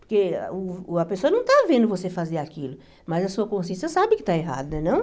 Porque uh a pessoa não tá vendo você fazer aquilo, mas a sua consciência sabe que está errado, né não?